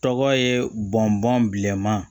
Tɔgɔ ye bɔnbɔn bilenman